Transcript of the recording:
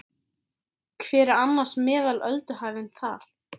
Hver er annars meðal ölduhæðin þar?